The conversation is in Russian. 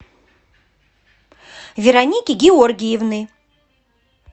вероники георгиевны